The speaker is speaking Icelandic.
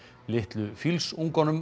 litlu